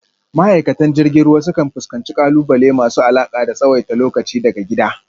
Ma’aikatan jirgin ruwa sukan fuskanci ƙalubale masu alaƙa da tsawaita lokaci daga gida,